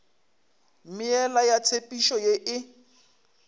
meela ya tshepetšo ye e